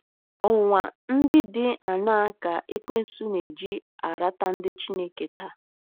Ọnwụnwa ndị dị aṅaa ka Ekwensu na-eji arata ndị Chineke taa?